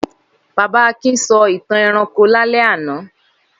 Baba Akin sọ ìtàn ẹranko lálẹ́ àná?